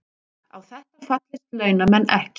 Á þetta fallist launamenn ekki